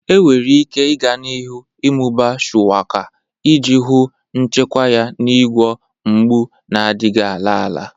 Enwere ike i ga n'ihu ịmụba Shuwaka iji hụ nchekwa ya n'ịgwọ mgbu na-adịghị ala ala.